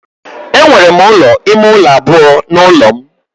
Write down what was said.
Enwere m ụlọ ime ụlọ abụọ n'ụlọ m